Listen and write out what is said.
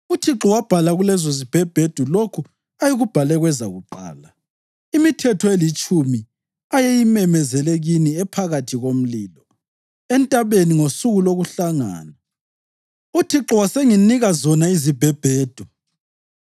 UThixo wabhala kulezozibhebhedu lokho ayekubhale kwezakuqala, imiThetho eliTshumi ayeyimemezele kini ephakathi komlilo, entabeni, ngosuku lokuhlangana. UThixo wasenginika zona izibhebhedu.